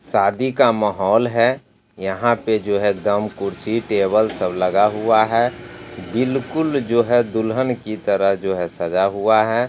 शादी का माहौल है यहाँ पे जो है एकदम कुर्सी टेबल सब लगा हुआ है बिलकुल जो है दुल्हन की तरह जो है सजा हुआ है।